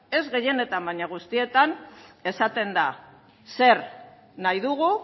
ez gehienetan baino guztietan esaten da zer nahi dugu